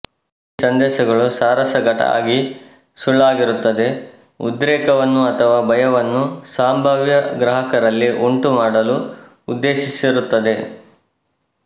ಈ ಸಂದೇಶಗಳು ಸಾರಾಸಗಟಾಗಿ ಸುಳ್ಳಾಗಿರುತ್ತದೆ ಉದ್ರೇಕವನ್ನು ಅಥವಾ ಭಯವನ್ನು ಸಂಭಾವ್ಯ ಗ್ರಾಹಕರಲ್ಲಿ ಉಂಟು ಮಾಡಲು ಉದ್ದೇಶಿಸಿರುತ್ತದೆ